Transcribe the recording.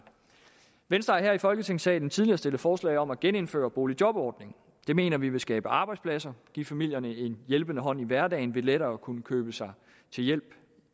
venstre har her i folketingssalen tidligere stillet forslag om at genindføre boligjobordningen det mener vi vil skabe arbejdspladser og give familierne en hjælpende hånd i hverdagen ved lettere at kunne købe sig til hjælp i